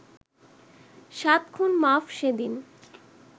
সাত খুন মাফ সেদিন